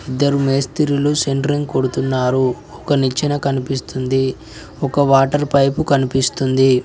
ఇద్దరు మేస్తిరులు సెంట్రింగ్ కొడుతున్నారు ఒక్కనిచ్చిన కనిపిస్తుంది ఒక వాటర్ పైపు కనిపిస్తుంది.